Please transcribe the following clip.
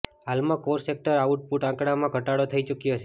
હાલમાં core sector આઉટપુટના આંકડામાં ઘટાડો થઇ ચુક્યો છે